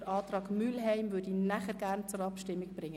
Den Antrag Mühlheim möchte ich nachher zur Abstimmung bringen.